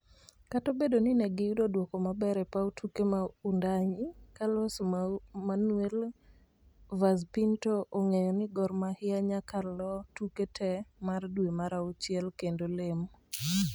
Kata obedo ni ne giyudo duokomaber e paw tuke mar Wundanyi, Carlos Manuel Vaz Pinto ongeyo ni Gor Mahia nyaka loo tuke tee mar dwe mar auchiel kendo lem